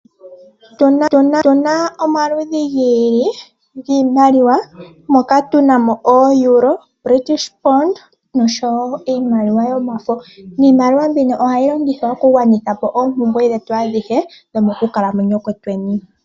Otuna omaludhi giili giimaliwa moka tuna moEuro, British pond oshowo iimaliwa yomafo. Iimaliwa mbino ohayi longithwa okugwanitha po oompumbwe dhetu adhihe dhomokukalamwenyo kwetu.